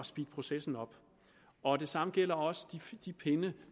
speede processen op og det samme gælder også de pinde